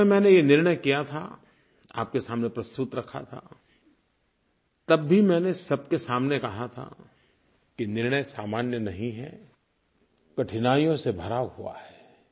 जिस समय मैंने ये निर्णय किया था आपके सामने प्रस्तुत रखा था तब भी मैंने सबके सामने कहा था कि निर्णय सामान्य नहीं है कठिनाइयों से भरा हुआ है